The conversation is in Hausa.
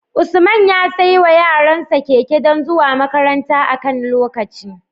Usman ya saiwa yaran sa Keke don zuwa makaranta akan lokaci